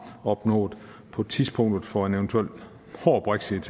opnået på tidspunktet for en eventuel hård brexit